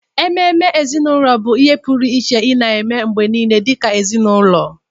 Ememe ezinụlọ bụ ihe pụrụ iche ị na-eme mgbe niile dịka ezinụlọ.